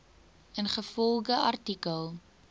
ingevolge artikel